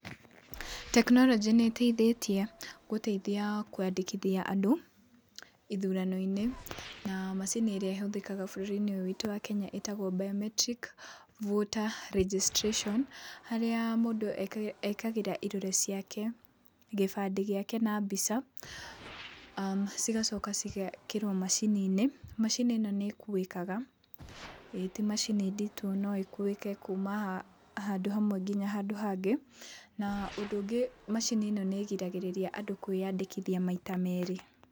Tekinoronjĩ nĩ ĩteithĩtie gũteithia kwandĩkithia andũ ithurano-inĩ, na macini ĩrĩa ĩhũthĩka bũrũri-inĩ ũyũ witũ wa Kenya ĩtagwo biometric voter registration harĩa mũndũ ekagĩra irore ciake, gĩbandĩ gĩake na mbica, cigacoka cigekĩrwo macini-inĩ, macini ĩno nĩ ĩkuĩkaga, ti macini nditũ no ĩkuĩke kuuma handũ hamwe nginya handũ hangĩ, na ũndũ ũngĩ macini ĩno nĩ ĩgiragĩrĩria andũ kwĩyandĩkithia maita merĩ.